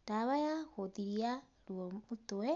ndawa ya gũthiria ruo mutwe.